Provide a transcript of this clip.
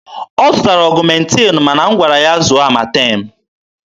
Ọ zụtara ọgụmentin ma na m gwara ya zụọ amatem.